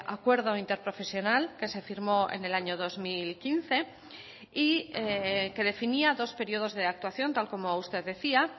acuerdo interprofesional que se firmó en el año dos mil quince y que definía dos periodos de actuación tal como usted decía